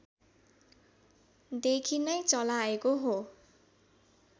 देखि नै चलाएको हो